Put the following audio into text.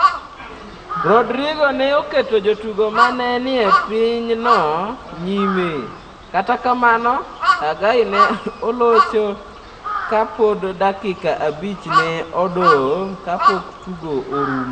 Rodrigo ne oketo jotugo ma ne nie pinyno nyime, kata kamano, Hagai ne olocho ka pod dakika abich ne odong' kapok tugo orumo.